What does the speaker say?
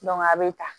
a bɛ ta